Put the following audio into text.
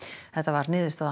þetta varð niðurstaða